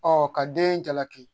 Ɔ ka den jalaki